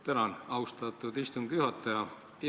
Tänan, austatud istungi juhataja!